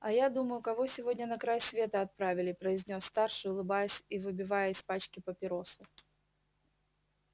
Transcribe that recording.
а я думаю кого сегодня на край света отправили произнёс старший улыбаясь и выбивая из пачки папиросу